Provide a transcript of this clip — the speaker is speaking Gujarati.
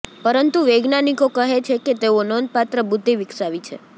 પરંતુ વૈજ્ઞાનિકો કહે છે કે તેઓ નોંધપાત્ર બુદ્ધિ વિકસાવી છે